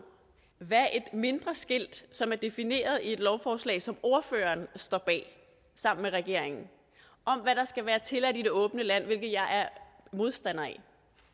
hvad et mindre skilt som er defineret i et lovforslag som ordføreren står bag sammen med regeringen om hvad der skal være tilladt i det åbne land hvilket jeg er modstander af